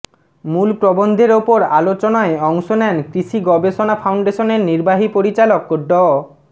মূল প্রবন্ধের ওপর আলোচনায় অংশ নেন কৃষি গবেষণা ফাউন্ডেশনের নির্বাহী পরিচালক ড